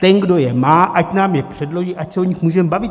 Ten, kdo je má, ať nám je předloží, ať se o nich můžeme bavit.